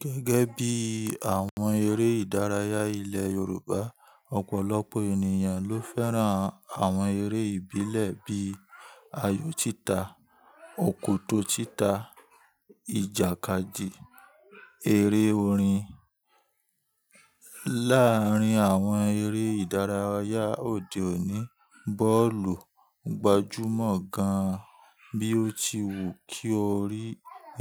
Gẹ́gẹ́ bí àwọn eré ìdárayá ilẹ̀ Yorùbá, ọ̀pọ̀lọpọ̀ ènìyàn ló fẹ́ràn àwọn eré ìbílẹ̀ bíi ayò títa, òkòtó títa, ìjàkadì, eré orin. Láàárín àwọn eré ìdárayá òde òní, bọ́ọ̀lù gbajúmọ̀ gan-an. Bí ó ti wù kí o rí